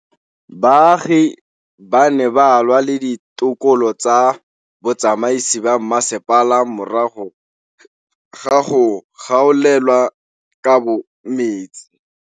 Baagi ba ne ba lwa le ditokolo tsa botsamaisi ba mmasepala morago ga go gaolelwa kabo metsi.